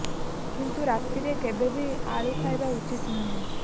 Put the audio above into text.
କିନ୍ତୁ ରାତିରେ କେବେ ବି ଆଳୁ ଖାଇବା ଉଚିତ ନୁହେଁ